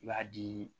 I b'a di